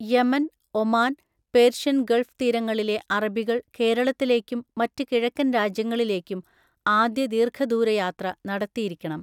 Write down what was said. Yemen, Oman, Persian Gulf തീരങ്ങളിലെ അറബികൾ കേരളത്തിലേക്കും മറ്റ് കിഴക്കൻ രാജ്യങ്ങളിലേക്കും ആദ്യ ദീർഘദൂര യാത്ര നടത്തിയിരിക്കണം.